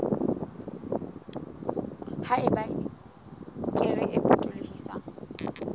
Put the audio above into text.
ha eba kere e potolohisang